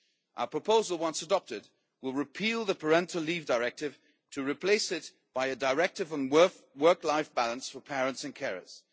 Our proposal, once adopted, will repeal the Parental Leave Directive to replace it by a directive on work life balance for parents and carers.